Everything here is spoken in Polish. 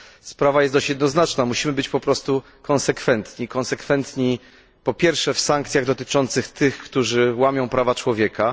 Sprawa jest dość jednoznaczna. Musimy być po prostu konsekwentni, konsekwentni po pierwsze w sankcjach wobec tych, którzy łamią prawa człowieka.